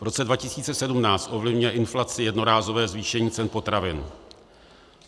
V roce 2017 ovlivňuje inflaci jednorázové zvýšení cen potravin.